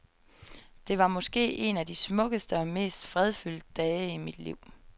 Det var måske en af de smukkeste og mest fredfyldt dage i mit liv.